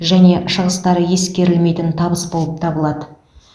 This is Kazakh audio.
және шығыстары ескерілмейтін табыс болып табылады